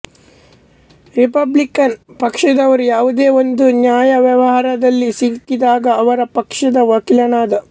Republican ಪಕ್ಷದವರು ಯಾವುದೋ ಒಂದು ನ್ಯಾಯವ್ಯವಹಾರದಲ್ಲಿ ಸಿಕ್ಕಿದಾಗ ಅವರ ಪಕ್ಷದ ವಕೀಲನಾದ